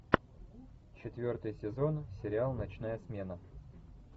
четвертый сезон сериал ночная смена